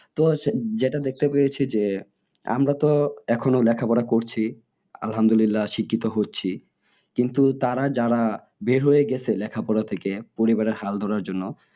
তো যেটা দেখতে পেয়েছি যে আমারা তো এখনও লেখা পড়া করছি আলহামদুলিল্লাহ শিক্ষিত হচ্ছি কিন্তু তারা যারা বের হয়ে গেছে লেখা পড়া থেকে পরিবারে হাল ধরার জন্য